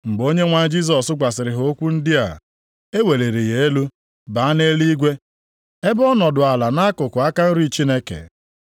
Mgbe Onyenwe anyị Jisọs gwasịrị ha okwu ndị a, e weliri ya elu, baa nʼeluigwe, ebe ọ nọdụ ala nʼakụkụ aka nri Chineke.